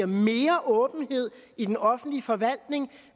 mere åbenhed i den offentlige forvaltning og